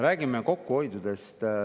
Räägime kokkuhoidudest.